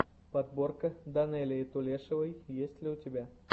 подборка данелии тулешовой есть ли у тебя